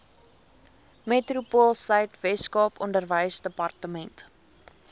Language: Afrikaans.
metropoolsuid weskaap onderwysdepartement